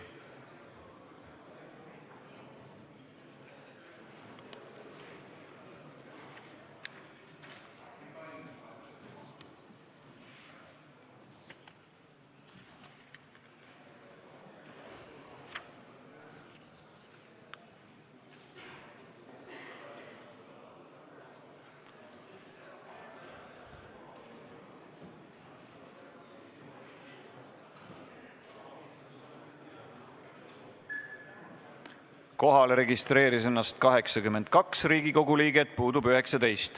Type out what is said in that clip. Kohaloleku kontroll Kohalolijaks registreeris ennast 82 Riigikogu liiget, puudub 19.